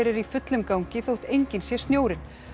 í fullum gangi þótt enginn sé snjórinn